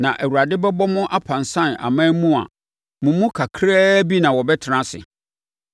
Na Awurade bɛbɔ mo apansam aman mu a mo mu kakra bi na wɔbɛtena ase.